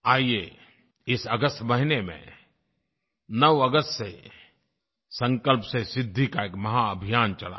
आइए इस अगस्त महीने में 9 अगस्त से संकल्प से सिद्धि का एक महाभियान चलाएं